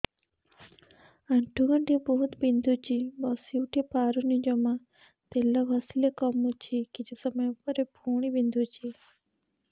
ଆଣ୍ଠୁଗଣ୍ଠି ବହୁତ ବିନ୍ଧୁଛି ବସିଉଠି ପାରୁନି ଜମା ତେଲ ଘଷିଲେ କମୁଛି କିଛି ସମୟ ପରେ ପୁଣି ବିନ୍ଧୁଛି